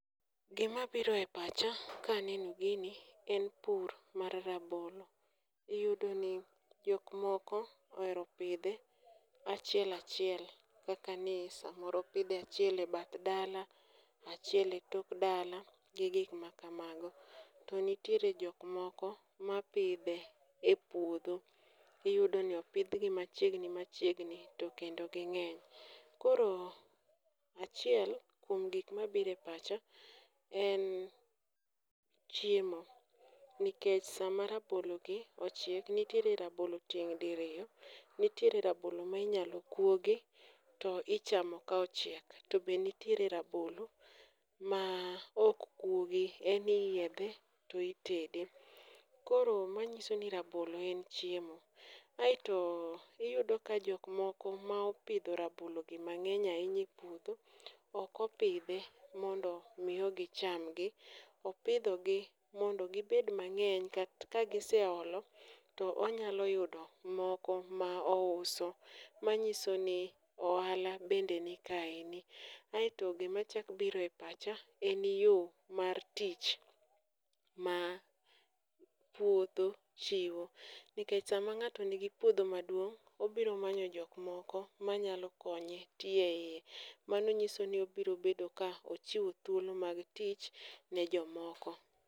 Gimabiro e pacha kaneno gini en pur mar rabolo, iyudo ni jokmoko ohero pidhe achiel achiel kaka ni samoro opidhe achiel e bath dala achiel e tok dala gi gikmakamago. To nitiere jokmoko mapidhe e puodho iyudo ni opidhgi machiegni machiegni to kendo ging'eny. Koro achiel kuom gikmabiro e pacha en chiemo, nikech sama rabologi ochiek, nitiere rabolo tieng' diriyo, nitiere rabolo ma inyalo kuogi to ichamo ka ochielk to be nitiere rabolo maok kuogi en iyiedhe to itede. Koro manyiso ni rabolo en chiemo. Aeto iyudo ka jokmoko ma opidho rabologi mang'eny ahinya e puodho okopidhe mondomio gichamgi, opidhogi mondo gibed mang'eny kagiseolo to onyalo yudo moko ma ouso, manyiso ni ohala bende nikaeni. Aeto gimachak biro e pacha en yo mar tich ma puodho chiwo nikech sama ng'ato nigi puodho maduong' obiro manyo jokmoko manyalo konye tiyo e iye. Mano nyiso ni obirobedo ka ochiwo thuolo mag tich ne jomoko.